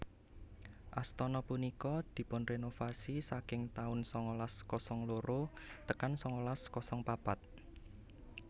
Astana punika dipunrenovasi saking taun sangalas kosong loro tekan sangalas kosong papat